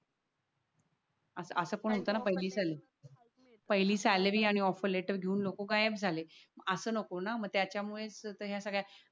पहिली सॅलरी आणि offer letter घेऊन लोक गायब झाले. अस नको ना मग त्याच्या मुळे तर या सगळ्या